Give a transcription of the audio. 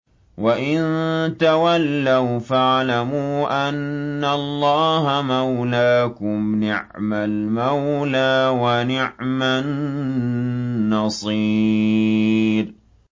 وَإِن تَوَلَّوْا فَاعْلَمُوا أَنَّ اللَّهَ مَوْلَاكُمْ ۚ نِعْمَ الْمَوْلَىٰ وَنِعْمَ النَّصِيرُ